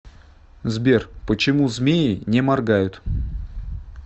сбер почему змеи не моргают